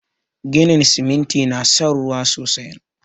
Ginin siminti na son ruwa sosai